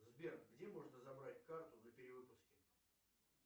сбер где можно забрать карту на перевыпуске